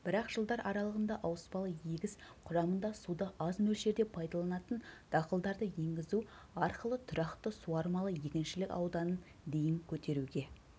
бірақ жылдар аралығында ауыспалы егіс құрамында суды аз мөлшерде пайдаланатын дақылдарды енгізу арқылытұрақты суармалы егіншілік ауданын дейін көтеруге